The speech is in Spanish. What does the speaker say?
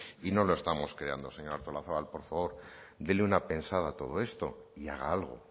y no lo estamos creando señora artolazabal por favor dele una pensada a todo esto y haga algo